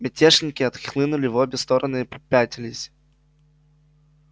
мятежники отхлынули в обе стороны и попятились